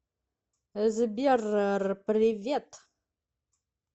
сбер р привет